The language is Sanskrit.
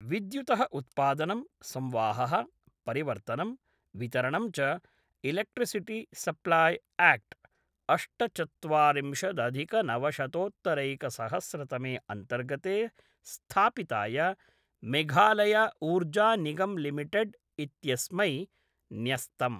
विद्युतः उत्पादनं, संवाहः, परिवर्तनं, वितरणं च इलेक्ट्रिसिटि सप्लाय् ऐक्ट्, अष्टचत्वारिंशदधिकनवशतोत्तरैकसहस्रतमे अन्तर्गते स्थापिताय मेघालय ऊर्जानिगम्लिमिटेड् इत्यस्मै न्यस्तम्।